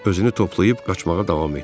Özünü toplayıb qaçmağa davam etdi.